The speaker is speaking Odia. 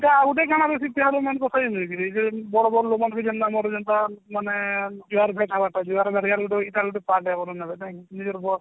ତ ଆଉ ଗୁଟେ କାଣା କହିବେ ଯୋଉ ବଡ ବଡ ଲୁଗମାନେ ବି ଜେନ୍ତା ଆମର ଜେନ୍ତା ମାନେ ଜୁହାର ଇଟା ଗୁଟେ part ନା